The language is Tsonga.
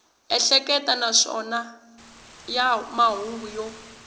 ehleketa naswona ya mahungu yo